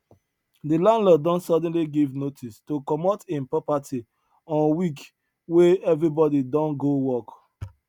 the landlord don suddenly give notice to comot hin property on week wey everybody don go work